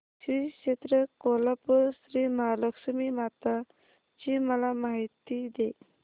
श्री क्षेत्र कोल्हापूर श्रीमहालक्ष्मी माता ची मला माहिती दे